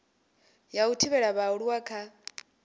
ya u thivhela vhaaluwa kha